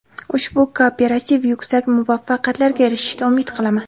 Ushbu kooperativ yuksak muvaffaqiyatlarga erishishiga umid qilaman”.